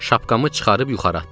Şapkamı çıxarıb yuxarı atdım.